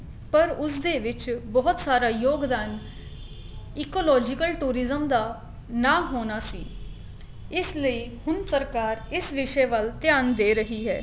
ਪਰ ਉਸ ਦੇ ਵਿੱਚ ਬਹੁਤ ਸਾਰਾ ਯੋਗਦਾਨ ecological tourism ਦਾ ਨਾ ਹੋਣਾ ਸੀ ਇਸ ਲਈ ਹੁਣ ਸਰਕਾਰ ਇਸ ਵਿਸ਼ੇ ਵਲ ਧਿਆਨ ਦੇ ਰਹੀ ਹੈ